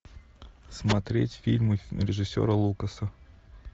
смотреть фильмы режиссера лукаса